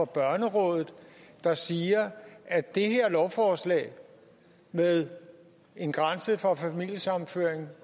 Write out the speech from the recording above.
børnerådet der siger at det her lovforslag med en grænse for familiesammenføring